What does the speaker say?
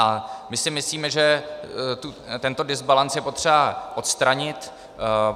A my si myslíme, že tento dysbalance je potřeba odstranit.